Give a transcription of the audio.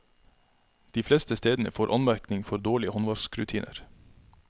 De fleste stedene får anmerkning for dårlige håndvaskrutiner.